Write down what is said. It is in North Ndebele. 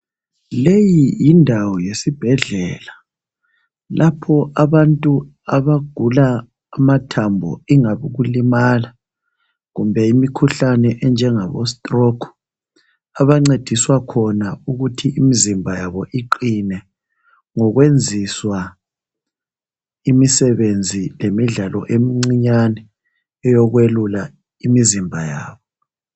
leyi yindawo yesibhedlela lapho abantu abagula amathambo ingabe yikulimala kumbe imikhuhlane enjengabo stroke abancediswa khona ukuthi imzimba yabo iqine ngokwenziswa imisebenzi lemidlalo emincinyane eyokwelula imizimba yabo